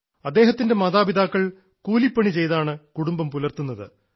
അദ്ദേഹത്തിൻറെ മാതാപിതാക്കൾ കൂലിപ്പണി ചെയ്താണ് കുടുംബം പുലർത്തുന്നത്